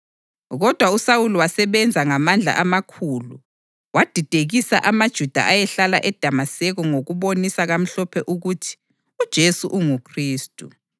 Kodwa uSawuli wasebenza ngamandla amakhulu wadidekisa amaJuda ayehlala eDamaseko ngokubonisa kamhlophe ukuthi uJesu unguKhristu.